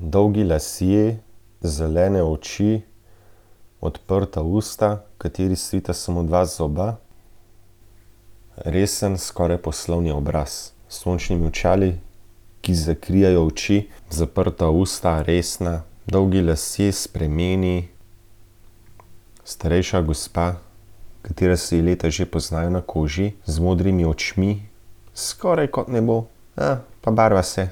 Dolgi lasje, zelene oči, odprta usta, kateri stojita samo dva zoba. Resen, skoraj poslovni obraz, s sončnimi očali, ki zakrivajo oči, zaprta usta, resna, dolgi lasje, s prameni. Starejša gospa, katera se ji leta že poznajo na koži, z modrimi očmi. Skoraj kot nebo, ja, pa barva se.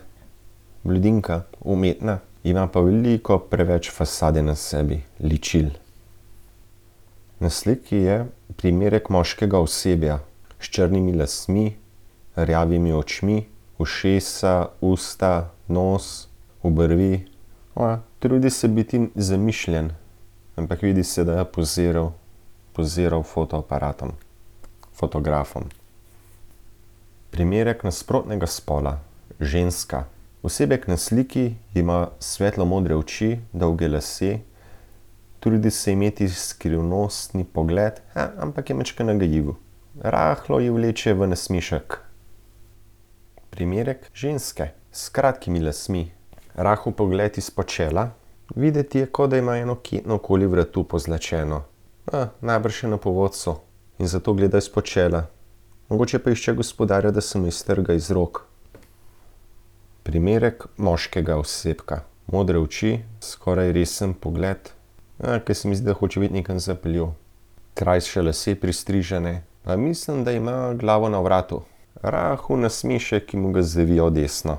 Blondinka, umetna, ima pa veliko preveč fasade na sebi, ličil. Na sliki je primerek moškega osebja. S črnimi lasmi, rjavimi očmi, ušesa, usta, nos, obrvi. Trudi se biti zamišljen, ampak vidi se, da je poziral. Poziral fotoaparatom. Fotografom. Primerek nasprotnega spola, ženska. Osebek na sliki ima svetlo modre oči, dolge lase. Trudi se imeti skrivnostni pogled, ampak je majčkeno nagajivo. Rahlo ji vleče v nasmešek. Primerek ženske, s kratkimi lasmi, rahel pogled izpod čela. Videti je, kot da ima eno ketno okoli vratu, pozlačeno. najbrž je na povodcu in zato gleda izpod čela. Mogoče pa išče gospodarja, da se mu iztrga iz rok. Primerek moškega osebka, modre oči, skoraj resen pogled. ker se mi zdi, da hoče biti nekam zapeljiv. Krajše lase, pristrižene, pa mislim, da ima glavo na vratu. Rahel nasmešek, ki mu ga zavija v desno.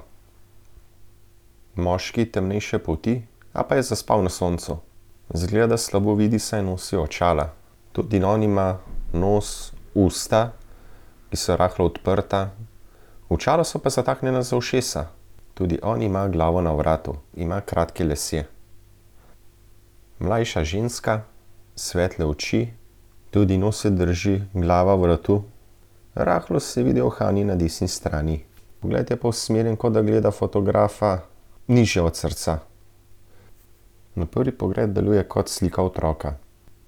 Moški, temnejše polti ali pa je zaspal na soncu. Izgleda, da slabo vidi, saj nosi očala. Tudi on ima nos, usta, ki so rahlo odprta. Očala so pa zataknjena za ušesa. Tudi on ima glavo na vratu. Ima kratke lase. Mlajša ženska, svetle oči, tudi njo se drži glava vratu. Rahlo se vidijo uhani na desni strani. Pogled je pa usmerjen, kot da gleda fotografa, nižje od srca. Na prvi pogled deluje kot slika otroka.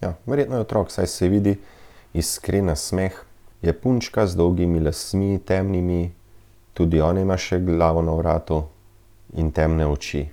Ja, verjetno je otrok, saj se vidi iskren nasmeh, je punčka z dolgimi lasmi, temnimi, tudi ona ima še glavo na vratu. In temne oči.